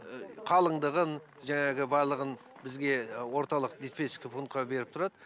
қалыңдығын жаңағы барлығын бізге орталық диспетчерский пунктқа беріп тұрады